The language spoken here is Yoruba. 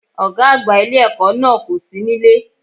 Ògá àgbà ilé èkó náà kò sí nílé